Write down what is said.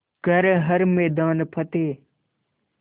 कर हर मैदान फ़तेह